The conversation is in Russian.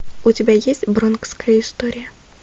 у тебя есть бронкская история